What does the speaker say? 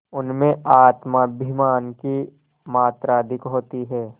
उनमें आत्माभिमान की मात्रा अधिक होती है